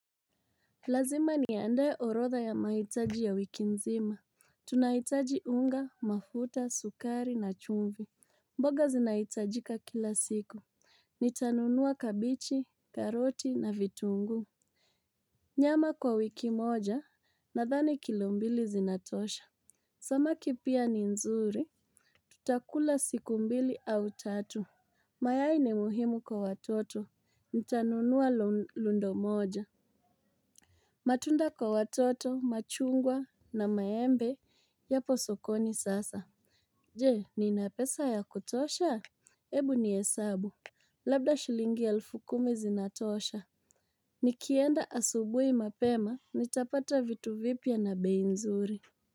Lazima niandae orotha ya mahitaji ya wiki nzima. Tunahitaji unga, mafuta, sukari na chumvi. Mboga zinahitajika kila siku. Nitanunua kabichi, karoti na vitunguu. Nyama kwa wiki moja nadhani kilo mbili zinatosha. Samaki pia ni nzuri. Tutakula siku mbili au tatu. Mayai ni muhimu kwa watoto. Nitanunua lundo moja. Matunda kwa watoto, machungwa na maembe, yapo sokoni sasa. Je, nina pesa ya kutosha? Ebu ni hesabu. Labda shilingi ya elfu kumi zinatosha. Nikienda asubuhi mapema, nitapata vitu vipya na bei nzuri.